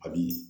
A bi